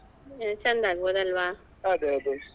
ಹ್ಮ್ ಚಂದಾ ಆಗ್ಬೊಹ್ದಲ್ಲಾ ಅದೇ ಅದೇ.